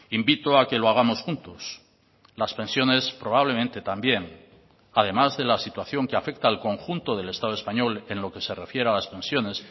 invito a que lo hagamos juntos las pensiones probablemente también además de la situación que afecta al conjunto del estado español en lo que se refiere a las pensiones